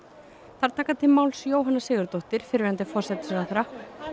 þar taka til máls Jóhanna Sigurðardóttir fyrrverandi forsætisráðherra